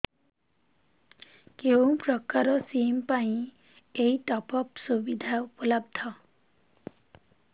କେଉଁ ପ୍ରକାର ସିମ୍ ପାଇଁ ଏଇ ଟପ୍ଅପ୍ ସୁବିଧା ଉପଲବ୍ଧ